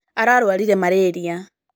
Ararwarire malĩria.